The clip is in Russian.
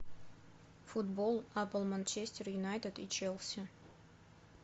футбол апл манчестер юнайтед и челси